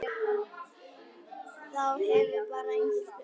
Það hefur bara enginn spurt